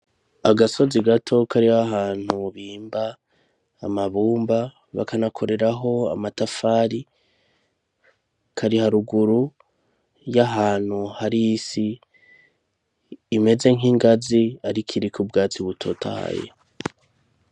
Agasozi gato kari ahantu bimba amabumba bakanakoreraho amatafari; Kari haruguru y'ahantu hari isi imeze nk'ingazi ariko iriko ubwatsi butotahaye.